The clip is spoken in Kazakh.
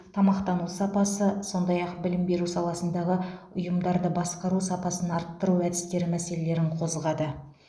тамақтану сапасы сондай ақ білім беру саласындағы ұйымдарды басқару сапасын арттыру әдістері мәселелерін қозғады